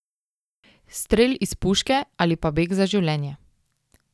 Stel iz puške ali pa beg za življenje.